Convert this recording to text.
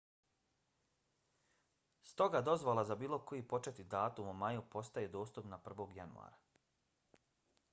stoga dozvola za bilo koji početni datum u maju postaje dostupna 1. januara